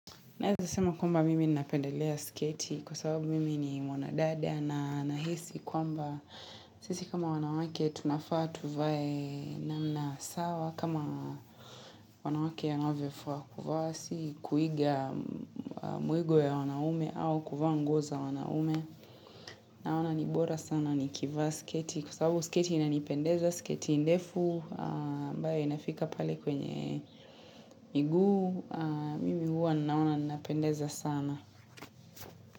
Naeza sema kwamba mimi napendelea sketi kwa sababu mimi ni mwana dada na nahisi kwamba sisi kama wanawake tunafaa tuvae namna sawa kama wanawake anavyofaa kuvaa si kuiga mwigo ya wanaume au kuvaa nguo za wanaume naona nibora sana nikivaa sketi kwa sababu sketi inanipendeza sketi ndefu ambae inafika pale kwenye miguu mimi huwa naona napendeza sana.